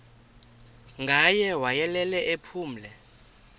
ngaye wayelele ephumle